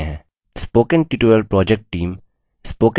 spoken tutorial project team